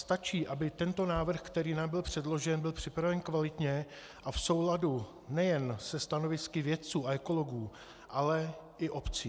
Stačí, aby tento návrh, který nám byl předložen, byl připraven kvalitně a v souladu nejen se stanovisky vědců a ekologů, ale i obcí.